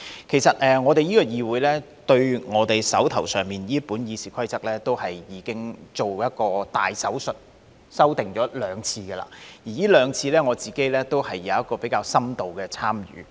其實，我們這個議會對我手上這本《議事規則》已經做過一個"大手術"，修訂了兩次。而這兩次，我都有比較深度的參與。